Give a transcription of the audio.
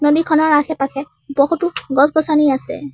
ছবিখনৰ আশে পাশে বহুতো গছ গছনি আছে।